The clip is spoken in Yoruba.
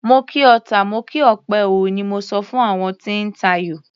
Mo kí ọta, mo kí òpè o, ni mo sọ fún àwọn tí ń tayò.